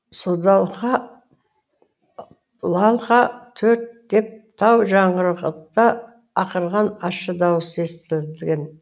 содалха лалха төрт деп тау жаңғырғыта ақырған ащы даусы естілген